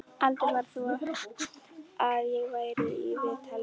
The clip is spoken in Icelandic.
Aldrei varð þó af því að ég færi í viðtalið.